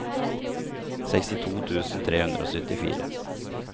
sekstito tusen tre hundre og syttifire